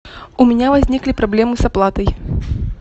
у меня возникли проблемы с оплатой